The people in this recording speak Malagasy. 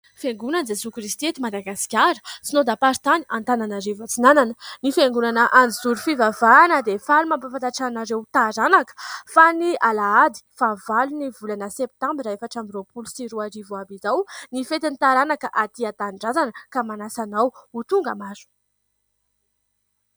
Fiangonan'i Jesoa Kristy eto Madagasikara, sinôdam-paritany Antananarivo Atsinanana. Ny Fiangonana Anjozoro fivavahana dia faly mampahafantatra anareo taranaka, fa ny Alahady faha valo ny volana septambra efatra amby roapolo sy roa arivo ho avy izao, ny fetin'ny taranaka aty an-tanindrazana. Ka manasa anao ho tonga maro.